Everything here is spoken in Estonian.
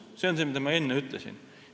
See on see, mida ma enne ütlesin.